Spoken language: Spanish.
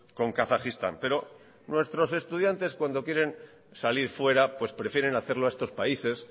con kazajistán pero nuestros estudiantes cuando quieren salir fuera pues prefieren hacerlo a estos países